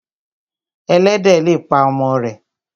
Ẹlẹ́dẹ̀ le pa ọmọ rẹ̀